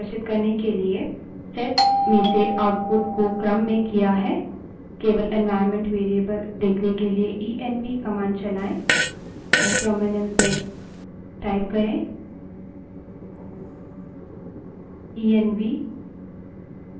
यहाँ variable सूची की सुनियोजित multipage output को और अच्छे से प्रदर्शित करने के लिए set में से output को क्रम में किया है